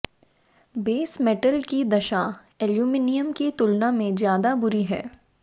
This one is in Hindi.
बेस मेटल की दशा एल्युमिनियम की तुलना में ज्यादा बुरी है